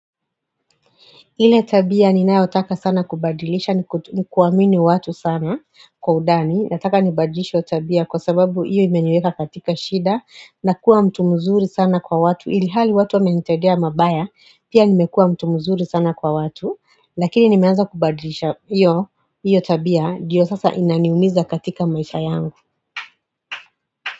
Ile tabia ninayotaka sana kubadilisha ni kuamini watu sana kwa udani Nataka nibadilishde tabia kwa sababu iyo imeniweka katika shida na kuwa mtu mzuri sana kwa watu Ilihali watu wa menitedea mabaya pia nimekuwa mtu mzuri sana kwa watu Lakini nimeanza kubadilisha iyo tabia diyo sasa inaniumiza katika maisha yangu.